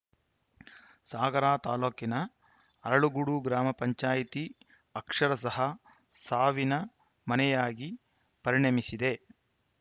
ಸಾಗರ ತಾಲೂಕಿನ ಅರಳಗೋಡು ಗ್ರಾಮ ಪಂಚಾಯಿತಿ ಅಕ್ಷರಶಃ ಸಾವಿನ ಮನೆಯಾಗಿ ಪರಿಣಮಿಸಿದೆ